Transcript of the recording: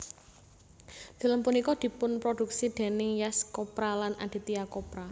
Film punika dipunproduksi dèning Yash Chopra lan Aditya Chopra